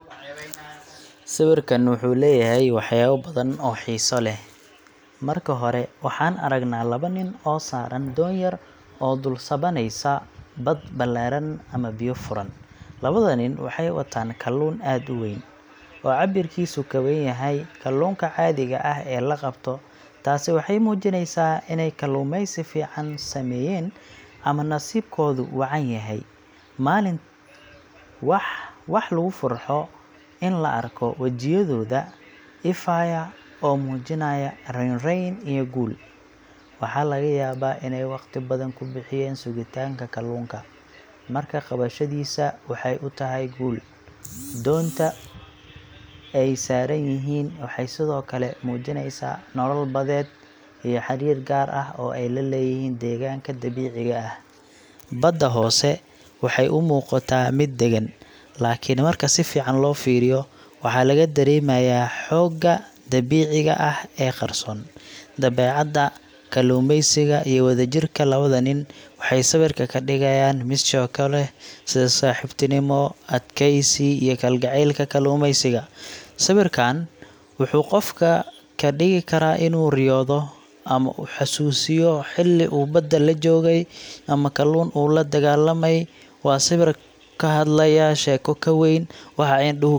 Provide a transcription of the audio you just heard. Sawirkaan wuxuu leeyahay waxyaabo badan oo xiiso leh. Marka hore, waxaan aragnaa laba nin oo saaran doon yar oo dul sabaynaysa bad ballaaran ama biyo furan. Labada nin waxay wataan kalluun aad u weyn, oo cabbirkiisu ka weyn yahay kalluunka caadiga ah ee la qabto. Taasi waxay muujinaysaa inay kalluumaysi fiican sameeyeen ama nasiibkoodu wacan yahay maalintaas. Waa wax lagu farxo in la arko wejiyadooda ifaya oo muujinaya raynrayn iyo guul. Waxaa laga yaabaa inay waqti badan ku bixiyeen sugitaanka kalluunka, markaa qabashadiisa waxay u tahay guul wayn. Doonta ay saaran yihiin waxay sidoo kale muujinaysaa nolol badeed iyo xariir gaar ah oo ay la leeyihiin deegaanka dabiiciga ah. Badda hoose waxay u muuqataa mid degan, laakiin marka si fiican loo fiiriyo, waxaa laga dareemayaa xoogga dabiiciga ah ee qarsoon. Dabeecadda, kalluumaysiga, iyo wadajirka labada nin waxay sawirka ka dhigayaan mid sheeko leh sida saaxiibtinimo, adkaysi iyo kalgacaylka kalluumaysiga. Sawirkaan wuxuu qofka ka dhigi karaa inuu riyoodo, ama xusuusiyo xilli uu badda la joogay ama kalluun uu la dagaallamay. Waa sawir ka hadlaya sheeko ka weyn waxa indhuhu.